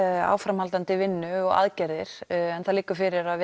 áframhaldandi vinnu og aðgerðir en það liggur fyrir að